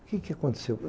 O que que aconteceu?